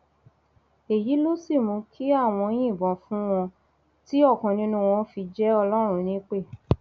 èyí ló sì mú kí àwọn yìnbọn fún wọn tí ọkan nínú wọn fi jẹ ọlọrun nípẹ